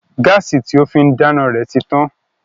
Gáàsì tí ó fín dáná rẹ̀ ti tán